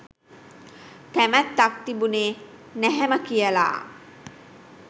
කැමැත්තක් තිබුණේ නැහැම කියලා